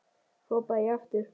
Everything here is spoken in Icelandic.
hrópaði ég aftur.